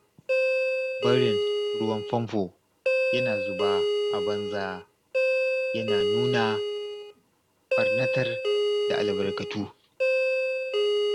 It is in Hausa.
Barin ruwan famfo yana zuba a banza yana nuna ɓarnatar da albarkatu.